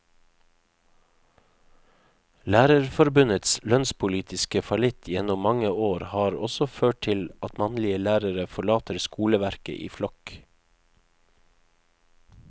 Lærerforbundets lønnspolitiske fallitt gjennom mange år har også ført til at mannlige lærere forlater skoleverket i flokk.